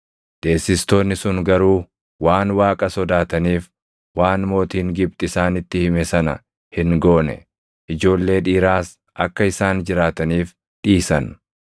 Deessistoonni sun garuu waan Waaqa sodaataniif, waan mootiin Gibxi isaanitti hime sana hin goone; ijoollee dhiiraas akka isaan jiraataniif dhiisan.